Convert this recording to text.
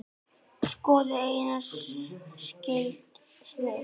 Skoðið einnig skyld svör